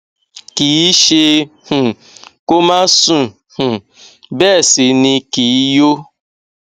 kì í ṣẹ um kó má sùn um bẹẹ sì ni kì í yó